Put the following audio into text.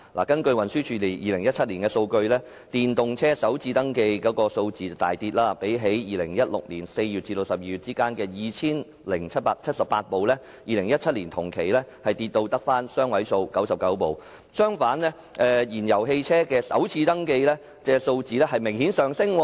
根據運輸署在2017年的數據，電動車首次登記數字亦因而大跌，相較2016年4月至12月的 2,078 輛 ，2017 年同期便下跌至只有雙位數字的99輛；相反，燃油汽車的首次登記數字卻明顯上升。